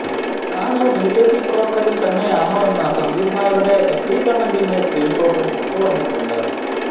താന് ബിജെപി പ്രവര്ത്തകന് തന്നേയാണെന്ന സന്ദീപ് നായരുടെ എഫ്ബി കമ്മന്റിന്റെ സ്ക്രീന് ഷോട്ടും പുറത്ത് വന്നിട്ടുണ്ട്